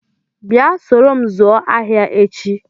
Bịa soro m zụọ ahịa echi!